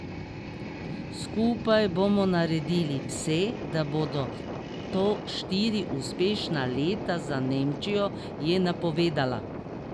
Skupaj bomo naredili vse, da bodo to štiri uspešna leta za Nemčijo, je napovedala.